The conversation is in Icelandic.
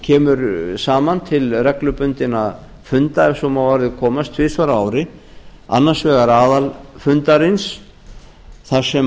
kemur saman til reglubundinna funda ef svo má að orði komast tvisvar á ári annars vegar aðalfundarins þar sem